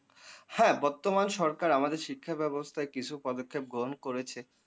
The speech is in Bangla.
হ্যা বর্তমান সরকার আমাদের শিক্ষাব্যবস্থায় কিছু পদক্ষেপ গ্রহণ করেছে,